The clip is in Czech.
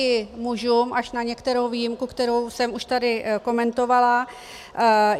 I mužům, až na některou výjimku, kterou jsem už tady komentovala.